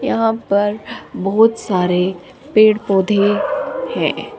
यहां पर बहुत सारे पेड़ पौधे हैं।